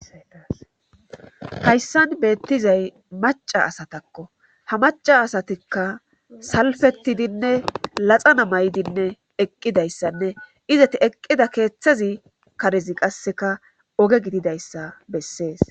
hayssan beettizay maca asatakko ha maca asatikka salfetidinne laxana may7dinne eqqidayssanne izati eqqida keeththazi karezi qasseka oge gididayssa bessees